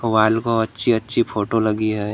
Wall को अच्छी अच्छी फोटो लगी है।